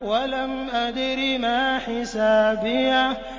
وَلَمْ أَدْرِ مَا حِسَابِيَهْ